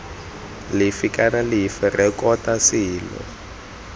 lefe kana lefe rekota selo